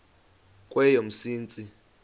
kweyomsintsi